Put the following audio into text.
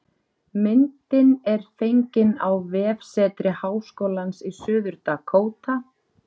Myndin er fengin á vefsetri Háskólans í Suður-Dakóta